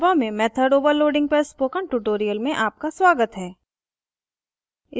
java में method overloading method overloading पर spoken tutorial में आपका स्वागत है